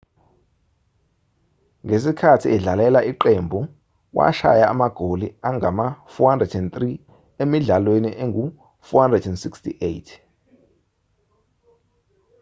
ngesikhathi edlalela iqembu washaya amagoli angama-403 emidlalweni engu-468